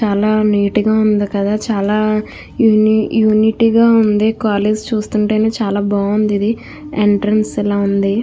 చాలా నీట్ గ ఉంది కదా చాలా యూనిటీ గ ఉంది కాలేజీ చూస్తుంట చాల బావుంది ఎంట్రన్స్ లా ఉంది .